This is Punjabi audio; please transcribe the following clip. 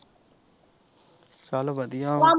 ਚਲ ਵਧੀਆ ਹੁਣ।